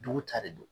Dugu ta de don